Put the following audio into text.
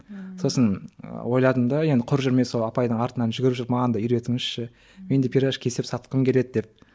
сосын ойладым да енді құр жүрмей сол апайдың артынын жүгіріп жүріп маған да үйретіңізші мен де пирожки істеп сатқым келеді деп